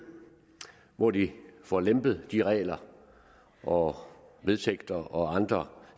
hvor de får lempet de regler og vedtægter og andre